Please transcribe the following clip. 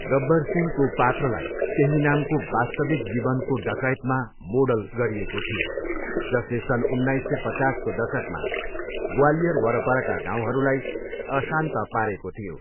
गब्बर सिंहको पात्रलाई त्यही नामको वास्तविक जीवनको डकैतमा मोडल गरिएको थियो, जसले सन् उन्नाइस सय पचासको दशकमा ग्वालियर वरपरका गाउँहरूलाई अशान्त पारेको थियो।